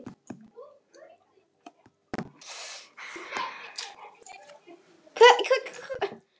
Látið malla þar til kartöflurnar eru meyrar.